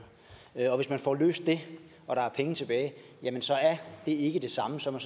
og hvis man får løst dem og der er penge tilbage jamen så er det ikke det samme som